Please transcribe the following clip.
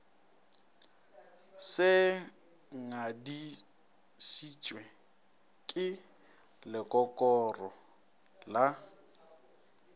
se ngadišitšwe ke lekokoro la